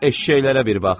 Eşşəklərə bir bax.